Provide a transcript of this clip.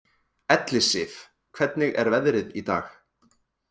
Ellisif, hvernig er veðrið í dag?